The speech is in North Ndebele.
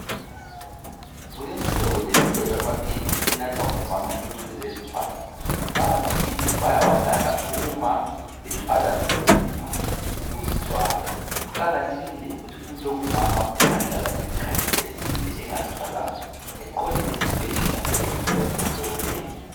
Kulemihlobo lemihlobo yamaphilisi enathwa ngomama ukuze bezithwale. Lawamaphilisi bayawanatha uma bethwala nzima ngokuzithwala, kuqakathekile ukuthi umuntu ongumama engahlala isikhathi eside engazithwalanga eqonde esibhedlela eyehlolwa ngabodokotela.